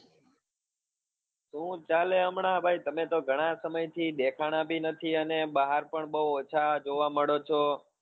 શું ચાલે હમણા ભાઈ તમે તો ઘણા સમય થી દેખાણા બી નથી અને બહાર પણ બહુ ઓછા જોવા મળો છો.